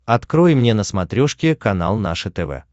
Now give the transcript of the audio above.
открой мне на смотрешке канал наше тв